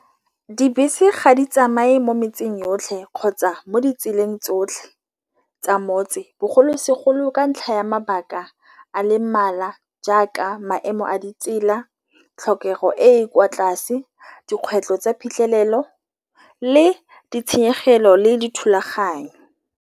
Dibese ga di tsamaye mo metseng yotlhe kgotsa mo ditseleng tsotlhe tsa motse. Bogolosegolo ka ntlha ya mabaka a le mmala jaaka maemo a di tsela tlhokego e e kwa tlase dikgwetlho tsa phitlhelelo le ditshenyegelo le dithulaganyo.